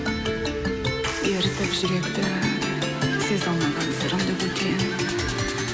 ерітіп жүректі сезе алмаған сырымды білдірем